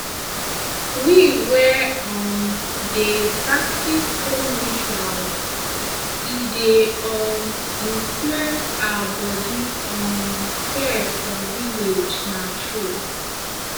we wey um dey practice home rituals e dey um influence our body um care for village na true